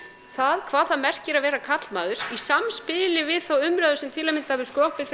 það hvað það merkir að vera karlmaður í samspili við þá umræðu sem til að mynda hefur